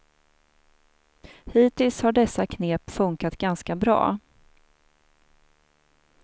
Hittills har dessa knep funkat ganska bra.